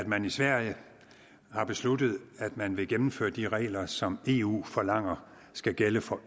man i sverige har besluttet at man vil gennemføre de regler som eu forlanger skal gælde for